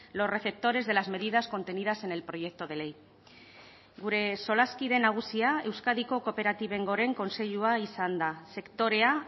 los receptores de las medidas contenidas en el proyecto de ley gure solaskide nagusia euskadiko kooperatiben goren kontseilua izan da sektorea